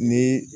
Ni